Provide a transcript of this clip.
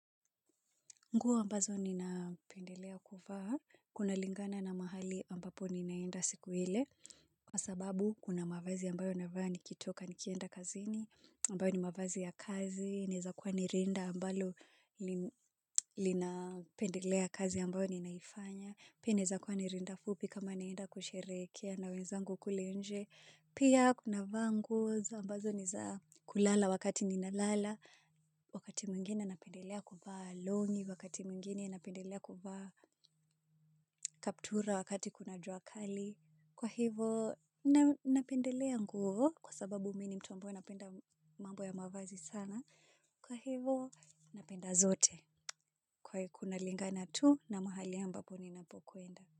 Nguo ambazo ninapendelea kuvaa, kunalingana na mahali ambapo ninaenda siku ile, kwa sababu kuna mavazi ambayo navaa nikitoka nikienda kazini, ambayo ni mavazi ya kazi, inaweza kwa ni rinda ambalo linapendelea kazi ambayo ninaifanya, pia inawezakuwa ni rinda fupi kama ninaenda kusherehekea na wenzangu kule nje, pia navaa nguo, ambazo ni za kulala wakati ninalala, wakati mwingine napendelea kuvaa longi wakati mwingine napendelea kuvaa kaptura wakati kuna jua kali kwa hivo napendelea nguo kwa sababu mimi ni mtu ambaye napenda mambo ya mavazi sana kwa hivo napenda zote kwa hivo kunalingana tu na mahali ambapo ninapokwenda.